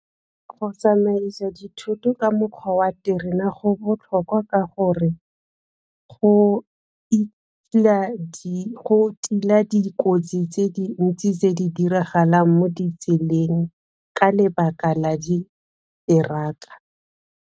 Go tsamaisa dithoto ka mokgwa wa terena go botlhokwa ka gore go tila dikotsi tse dintsi tse di diragalang mo ditseleng ka lebaka la di teraka.